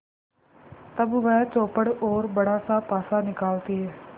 तब वह चौपड़ और बड़ासा पासा निकालती है